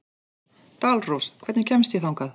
Dalrós, hvernig kemst ég þangað?